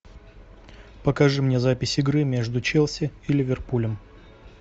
покажи мне запись игры между челси и ливерпулем